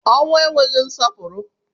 Ọnwụ enweghị nsọpụrụ.